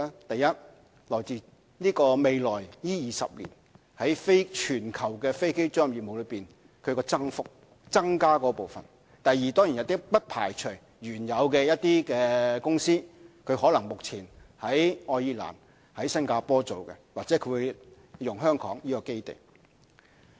第一，源自未來20年在全球飛機租賃業務的增加部分；第二，當然也不排除一些原有的公司，可能目前在愛爾蘭和新加坡營運或會轉用香港作為基地。